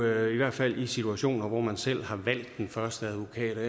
i hvert fald i situationer hvor man selv har valgt den første advokat og